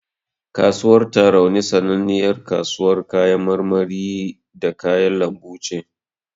Kasuwar Tarauni sananniyar kasuwar kayan marmari da kayan lambu ce.